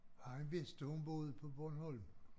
Han vidste hun boede på Bornholm